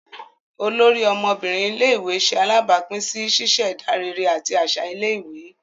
Olórí ọmọbinrin ilé-ìwé ṣe alabapin sí ṣiṣẹda réré àti aṣa ilé-ìwé